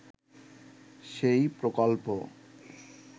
সেই প্রকল্প